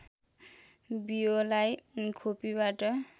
बियोलाई खोपीबाट